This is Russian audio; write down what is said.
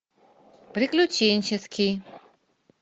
приключенческий